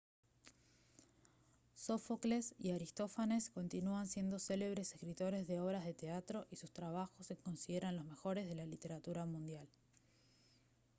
sófocles y aristófanes continúan siendo célebres escritores de obras de teatro y sus trabajos se consideran de los mejores de la literatura mundial